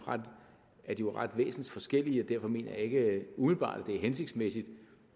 jo væsensforskellige og derfor mener jeg ikke umiddelbart at det er hensigtsmæssigt